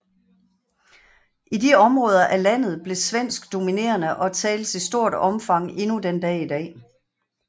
I de områder af landet blev svensk dominerende og tales i stort omfang endnu den dag i dag